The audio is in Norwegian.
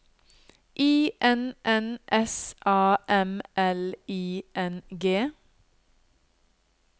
I N N S A M L I N G